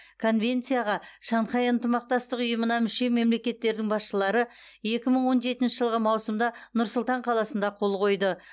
конвенцияға шанхай ынтымақтастық ұйымына мүше мемлекеттердің басшылары екі мың он жетінші жылғы маусымда нұр сұлтан қаласында қол қойды